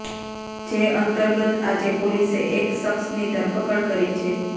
જે અંતર્ગત આજે પોલીસે એક શખ્સની ધરપકડ કરી છે